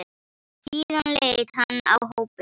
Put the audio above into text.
Síðan leit hann á hópinn.